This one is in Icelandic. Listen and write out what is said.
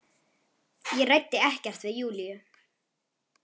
Ég ræddi ekkert við Júlíu.